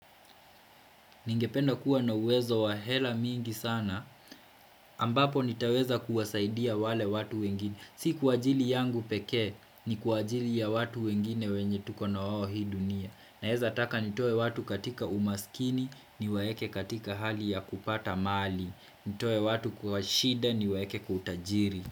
Ningependa kuwa na uwezo wa hela mingi sana, ambapo nitaweza kuwasaidia wale watu wengine. Si kwa ajili yangu pekee, ni kwa ajili ya watu wengine wenye tuko na wao hii dunia. Naeza taka nitoe watu katika umaskini, niwaeke katika hali ya kupata mali. Nitoe watu kwa shida niwaeke kwa utajiri.